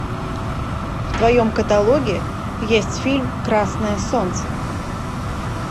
в твоем каталоге есть фильм красное солнце